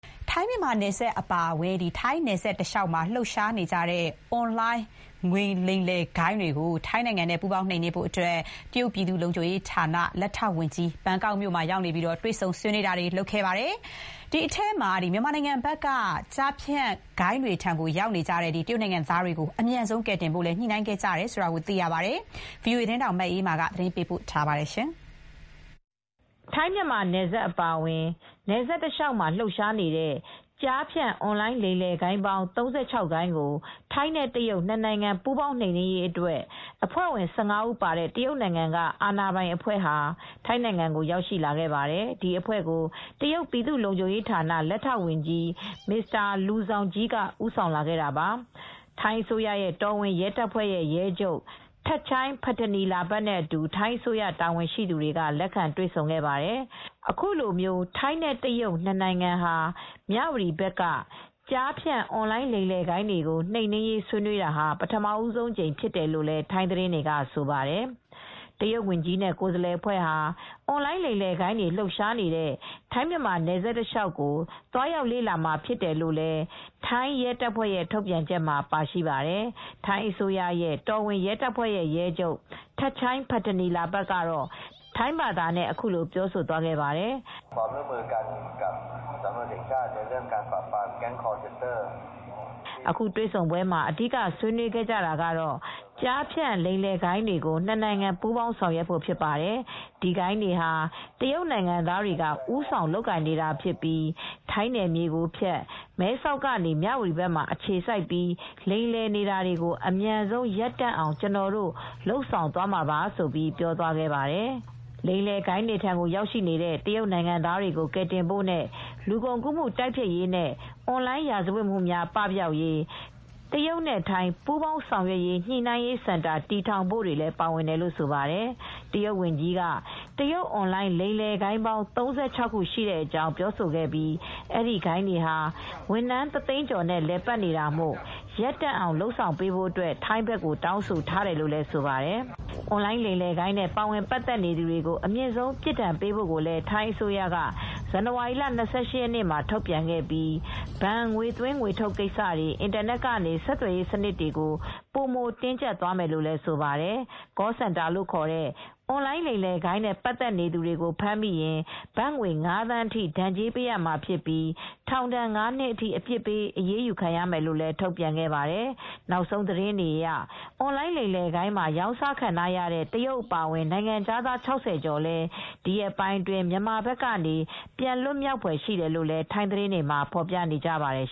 ထိုင်းမြန်မာနယ်စပ်အပါအဝင်ထိုင်းနယ်စပ်တလျှောက်မှာလှုပ်ရှားနေတဲ့အွန်လိုင်းလိမ်လည်ဂိုဏ်းတွေကို ထိုင်းနဲ့ ပူးပေါင်းနှိမ်နင်းဖို့အတွက် တရုတ်ပြည်သူ့လုံခြုံရေးဌာန လက်ထောက်ဝန်ကြီး ဘန်ကောက်မြို့မှာ တွေ့ဆုံဆွေး ခဲ့ပါတယ် ။ ဒီထဲမှာ မြန်မာနိုင်ငံဘက်က ကျားဖြန့်ဂိုဏ်းတွေထံရောက်ရှိနေတဲ့ တရုတ်နိုင်ငံသားတွေကို အမြန်ဆုံးကယ်တင်ဖို့လိုက်လံ ညှိနှိုင်းခဲ့ကြတယ်လို့သိရပါတယ်။ ဗွီအိုအေသတင်းထောက် မအေးအေးမာက သတင်းပေးပို့ထားပါတယ်။ ထိုင်းမြန်မာနယ်စပ်အပါအဝင်ထိုင်းနယ်စပ်တလျှောက်မှာလှုပ်ရှားနေတဲ့ကျားဖြန့် အွန်လိုင်းလိမ်လည်ဂိုဏ်းပေါင်း ၃၆ ဂိုဏ်းကို ထိုင်းနဲ့ တရုတ်နှစ်နိုင်ငံ ပူးပေါင်းနှိမ်နင်းရေးအတွက် အဖွဲ့ဝင် ၁၅ ဦး ပါတဲ့ တရုတ်နိုင်ငံက အာဏာပိုင် အဖွဲ့(Minister of Public Security of the People's Republic of China) ဟာ ထိုင်းကိုရောက်ရှိလာခဲ့ပါတယ်။ ဒီအဖွဲ့ကို တရုတ်ပြည်သူ့လုံခြုံရေးဌာန လက်ထောက်ဝန်ကြီး Mr.Liu Zhongyi (မစ္စတာ လူဇောင်ဂျီး) က ဦးဆောင်လာခဲ့တာပါ။ ထိုင်း အစိုးရရဲ့ တော်ဝင်ရဲတပ်ဖွဲ့ ရဲချုပ် Pol. Gen. Thatchai Pitaneelabut (ထပ်ချိုင်း ပထနီလာဘတ်) နဲ့အတူ ထိုင်းအစိုးရ တာဝန်ရှိသူတွေက လက်ခံ တွေ့ဆုံခဲ့ပါတယ် ။ အခုလိုထိုင်းနဲ့တရုတ်နှစ်နိုင်ငံဟာ မြ၀တီဘက်က ကျားဖြန့်အွန်လိုင်းလိမ်လည်ဂိုဏ်းတွေကို နှိမ်နင်းရေးဆွေးနွေးတာဟာ ပထမဦးဆုံးအကြိမ်ဖြစ်တယ်လို့ ထိုင်းသတင်းတွေက ဆိုပါတယ် ။ တရုတ်ဝန်ကြီးနဲ့ကိုယ်စားလှယ်အဖွဲ့ဟာ အွန်လိုင်းလိမ်လည်ဂိုဏ်းတွေလှုပ်ရှားနေတဲ့ ထိုင်းမြန်မာနယ်စပ်အခြေအနေကို သွားရောက်လေ့လာမှာဖြစ်တယ်လို့ ထိုင်းရဲတပ်ဖွဲ့ရဲ့ထုတ်ပြန်ချက်မှာပါရှိပါတယ် ။ ထိုင်း အစိုးရရဲ့ တော်ဝင်ရဲတပ်ဖွဲ့ ရဲချုပ် Pol. Gen. Thatchai Pitaneelabut (ထပ်ချိုင်း ပထနီလာဘတ်) ကတော့ ထိုင်းဘာသာနဲ့အခုလိုပြောသွားပါတယ်။ “ အခုတွေ့ဆုံ ပွဲမှာအဓိဆွေး နွေးခဲ့ကြတာကတော့ ကျားဖြန့် လိမ်လည်ဂိုဏ်းတွေကို နစ်နိုင်ငံ ပူးပေါင်းနှိမ်နင်းဖို့အတွက်ဖြစ်ပါတယ်။ ဒီဂိုဏ်းတွေဟာ တရုတ်နိုင်ငံသားတွေက ဦးဆောင်လုပ်ကိုင်နေတာဖြစ်ပြီး ထိုင်းနယ်မြေကိုဖြတ် မဲဆောက်ကနေ မြ၀တီဘက်မှာ အခြေစိုက်ပြီးလိမ်လည်နေတာကို အမြန်ဆုံးရပ်တန့်အောင်ကျွန်တော်တို့လုပ်ဆောင်သွားမှာပါ လို့ ပြောသွားပါတယ်။ “ လိမ်လည်ဂိုဏ်းတွေထံရောက်နေတဲ့ တရုတ်နိုင်ငံသားတွေကိုကယ်တင်ဖို့နဲ့ လူကုန်ကူးမှု တိုက်ဖျက်ရေးနဲ့ အွန်လိုင်းရာဇဝတ်မူများ ပပျောက်ရေး တရုတ်ထိုင်း ပူးပေါင်းဆောင်ရွက်ညှိနှိုင်းရေးစင်တာ တည်ထောင်ဖို့တွေလည်းပါဝင်တယ်လို့ဆိုပါတယ်။ တရုတ်ဝန်ကြီးက တရုတ်အွန်လိုင်း လိမ်လည်ဂိုဏ်းပေါင်း ၃၆ခုရှိကြောင်းပြောဆိုခဲ့ပြီး အဲဒီဂိုဏ်းတွေဟာဝန်ထမ်း တသိန်းကျော်နဲ့လည်ပတ်နေတာမို့ ရပ်တန့်အောင် လုပ်ဆောင်ပေးဖို့အတွက် ထိုင်းဘက်ကိုတောင်းဆိုထားတယ်လို့ ဆိုပါတယ်။ အွန်လိုင်းလိမ်လည်ဂိုဏ်းနဲ့ ပါဝင်ပါတ်သက် နေသူတွေကို အမြင့်ဆုံး အပြစ်ဒဏ်ပေးဖို့ကိုလည်း ထိုင်းအစိုးရက ဇန်နဝါရီလ ၂၈ရက်နေ့မှာ ထုတ်ပြန်ခဲ့ပြီး ဘဏ်ငွေသွင်းငွေထုတ်ကိစ္စတွေ အင်တာနက်ကနေ ဆက်သွယ်ရေး စနစ်တွေကို ပိုမိုတင်းကျပ်သွားမယ်လို့ ဆိုပါတယ်။ Call Centerလို့ခေါ်တဲ့ အွန်လိုင်းလိမ်လည်ဂိုဏ်းနဲ့ပတ်သက်နေသူတွေကို ဖမ်းမိရင် ဘတ်ငွေ ၅သန်းဒဏ်ကြေးပေးရမှာဖြစ်ပြီး ထောင်ဒဏ် ၅နှစ်အထိ အပြစ်ပေးအရေးယူမယ်လို့လည်း ထုတ်ပြန်ခဲ့ပါတယ်။ နောက်ဆုံးသတင်းတွေအရ အွန်လိုင်းလိမ်လည်ဂိုဏ်းမှာ ရောင်စားခံထားရတဲ့ တရုတ်အပါအဝင် နိုင်ငံခြာသား ၆၀ကျော်လည်း ဒီရက်ပိုင်းအတွင်း မြန်မာဘက်ကနေ ပြန်လွတ်မြောက်ဖွယ်ရှိတယ်လို့လည်း ထိုင်းသတင်းတွေမှာ ဖော်ပြနေပါတယ်